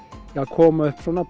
koma upp svona